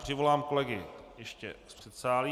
Přivolám kolegy ještě z předsálí.